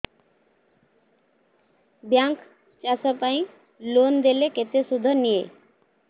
bank ଚାଷ ପାଇଁ loan ଦେଲେ କେତେ ସୁଧ ନିଏ